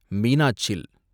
Meenachil